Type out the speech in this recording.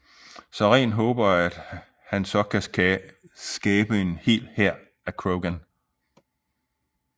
Saren håber at han så kan skabe en hel hær af Krogan